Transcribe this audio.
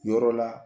Yɔrɔ la